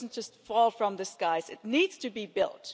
it doesn't just fall from the skies it needs to be built.